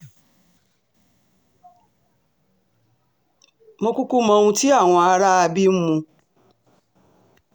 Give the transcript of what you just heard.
mo kúkú mọ ohun tí àwọn aráabí ń mu